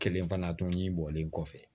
Kelen fana tun ɲi bɔlen kɔfɛ